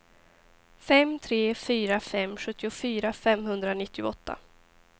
fem tre fyra fem sjuttiofyra femhundranittioåtta